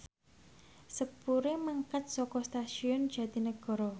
sepure mangkat saka Stasiun Jatinegara